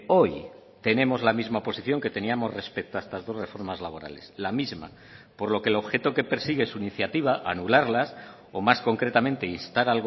hoy tenemos la misma posición que teníamos respecto a estas dos reformas laborales la misma por lo que el objeto que persigue su iniciativa anularlas o más concretamente instar